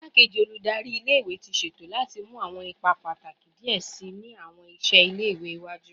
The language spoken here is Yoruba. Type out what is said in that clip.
Igbakeji Oludari ile iwe ti ṣeto lati mu awọn ipa pataki diẹ sii ni awọn iṣẹ ile-iwe iwaju